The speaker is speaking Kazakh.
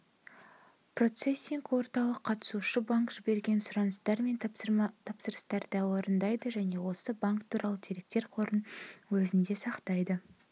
процессинг орталық қатысушы банк жіберген сұраныстар мен тапсырыстарды орындайды және осы банк туралы деректер қорын өзінде сақтайды